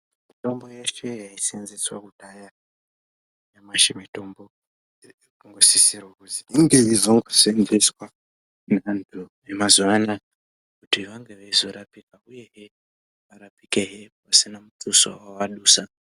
Mitombo yeshe yai senzeswa kudhaya nyamashi mitombo iri kungo sisirwa kuzi inge yeizo senzeswa ne antu ema zuva anaya kuti vange veizo rapika uyehe varapike hee pasina mutoso wa adusa.